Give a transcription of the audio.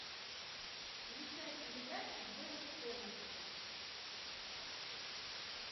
включай передачу бст на тв